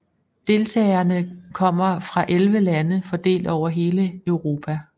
Deltagerne kommer fra 11 lande fordelt over hele Europa